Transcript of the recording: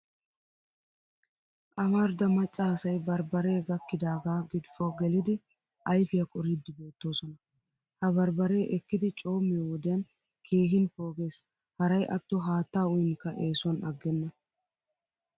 Amarida macca asay barbbaree gakkidaagaa gidfo gelidi ayfiya qoriiddi beettoosona. Ha barbbaree ekkidi coommiyo wodiyan keehin pooges haray atto haattaa uyinkka eesuwan aggenna.